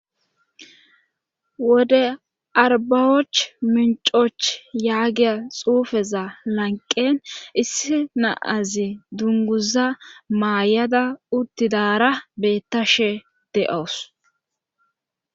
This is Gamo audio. wode arbbawoch minccooch yagiya xuufeza lanqqen issi na7azi dungguza mayada uttidaara beettashe de7aws.